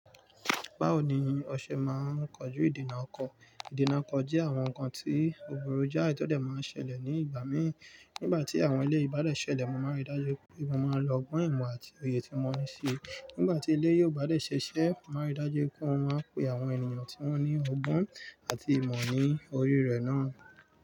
Báwo ni o se máa koju ìdína oko. Ìdènà ọko jẹ́ àwọn nǹkan tí òbúrú jáà tí ó dẹ̀ máa ń ṣẹlẹ̀ ní ìgbà mí. Nígbà tí àwọn ilé bádẹ̀ ṣẹlẹ̀, mo máa ń rí dájú pé mo máa ń lọ ọgbọ́n ìmọ̀ àti òye tí mo níí ṣe. Nígbà tí ilé yóò bá dé ṣẹ̀ṣẹ̀, màá rí dájú pé ó máa pe àwọn ènìyàn tí wọ́n ní ọgbọ́n àti ìmọ̀ ní orí rẹ̀ náà.